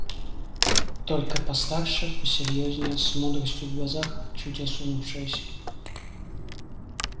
только постарше посерьёзнее с мудростью в глазах чуть осунувшаяся